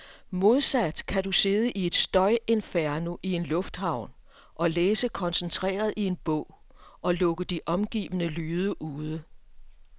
Modsat kan du sidde i et støjinferno i en lufthavn og læse koncentreret i en bog, og lukke de omgivende lyde ude.